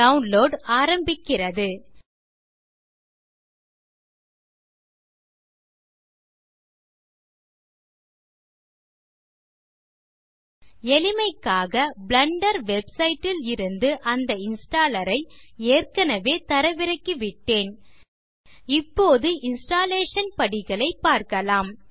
download ஆரம்பிக்கிறது எளிமைக்காக Blender website ல் இருந்து அந்த இன்ஸ்டாலர் ஐ ஏற்கனவே தரவிறக்கிவிட்டேன் இப்போது இன்ஸ்டாலேஷன் படிகளைப் பார்க்கலாம்